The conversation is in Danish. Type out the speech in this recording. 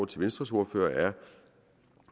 til venstres ordfører er